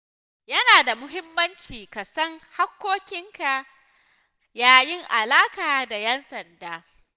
Yana da muhimmanci ka san haƙƙoƙinka yayin alaƙa da 'yan sanda.